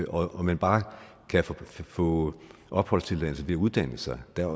og at man bare kan få opholdstilladelse ved at uddanne sig der er